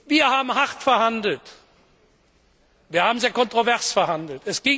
Wir haben hart verhandelt, wir haben sehr kontrovers verhandelt.